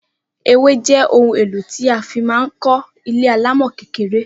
Ewé jé ohun èlò tí a fi ma kó ilé alámò kékeré